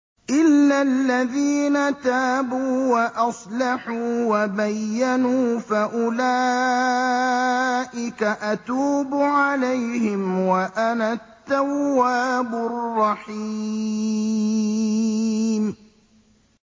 إِلَّا الَّذِينَ تَابُوا وَأَصْلَحُوا وَبَيَّنُوا فَأُولَٰئِكَ أَتُوبُ عَلَيْهِمْ ۚ وَأَنَا التَّوَّابُ الرَّحِيمُ